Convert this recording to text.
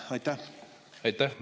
Aitäh!